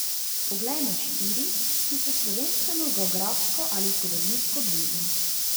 Poglejmo štiri, ki so slovenskemu geografsko ali zgodovinsko blizu.